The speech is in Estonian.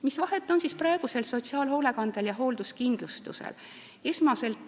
Mis vahet on praegusel sotsiaalhoolekandel ja hoolduskindlustusel?